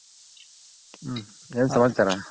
ಹ್ಮ್ ಏನ್ ಸಮಾಚಾರ?